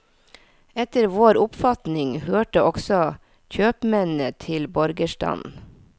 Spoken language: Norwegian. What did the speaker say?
Etter vår oppfatning hørte også kjøpmennene til borgerstanden.